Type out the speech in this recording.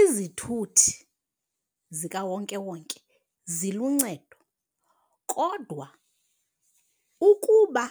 Izithuthi zikawonkewonke ziluncedo kodwa ukuba